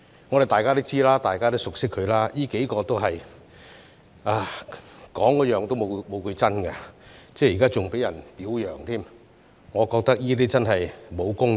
我們都知道，大家也熟悉他們，這幾個人都是說話沒有一句是真的，現在還被人表揚，我覺得這真的沒有公義。